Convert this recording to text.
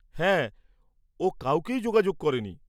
হ্যাঁ, ও কাউকেই যোগাযোগ করেনি।